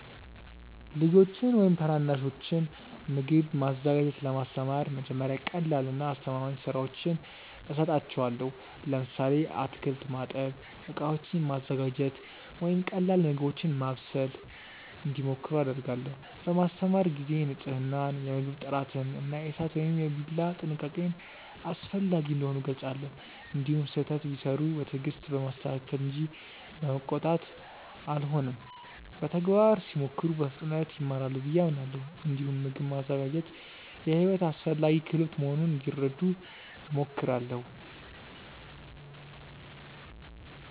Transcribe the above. ልጆችን ወይም ታናናሾችን ምግብ ማዘጋጀት ለማስተማር መጀመሪያ ቀላልና አስተማማኝ ሥራዎችን እሰጣቸዋለሁ። ለምሳሌ አትክልት ማጠብ፣ ዕቃዎችን ማዘጋጀት ወይም ቀላል ምግቦችን ማብሰል እንዲሞክሩ አደርጋለሁ። በማስተማር ጊዜ ንፅህናን፣ የምግብ ጥራትን እና የእሳት ወይም የቢላ ጥንቃቄን አስፈላጊ እንደሆኑ እገልጻለሁ። እንዲሁም ስህተት ቢሠሩ በትዕግስት በማስተካከል እንጂ በመቆጣት አልሆንም። በተግባር ሲሞክሩ በፍጥነት ይማራሉ ብዬ አምናለሁ። እንዲሁም ምግብ ማዘጋጀት የሕይወት አስፈላጊ ክህሎት መሆኑን እንዲረዱ እሞክራለሁ።